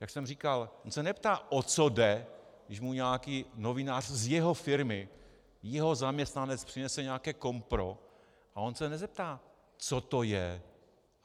Jak jsem říkal, on se neptá, o co jde, když mu nějaký novinář z jeho firmy, jeho zaměstnanec přinese nějaké kompro, a on se nezeptá, co to je.